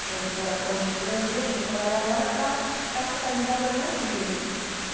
que é a editora Ponte do Brasil, onde eu trabalho agora, para ficar focalizada nos livros.